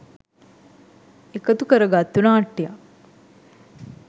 එකතු කරගත්තු නාට්‍යයක්.